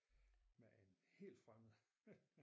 Med en helt fremmed